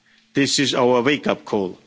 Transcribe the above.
This is our wake-up call.